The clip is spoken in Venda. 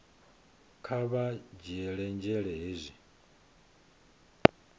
kha vha dzhiele nzhele hezwi